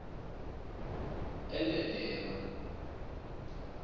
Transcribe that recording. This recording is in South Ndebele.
endedema